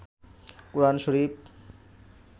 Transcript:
কোরআন শরীফ